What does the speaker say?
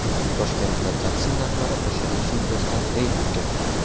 Toshkentda taksi narxlari oshirilishi yuzasidan reyd o‘tkazildi.